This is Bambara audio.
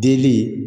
Delili